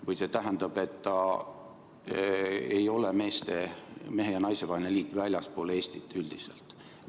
Või see tähendab, et see ei ole mehe ja naise vaheline liit väljaspool Eestit üldiselt?